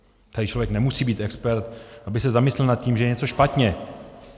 Tady člověk nemusí být expert, aby se zamyslel nad tím, že je něco špatně.